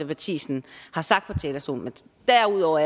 matthisen har sagt fra talerstolen derudover